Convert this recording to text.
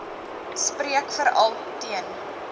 spreek veral teen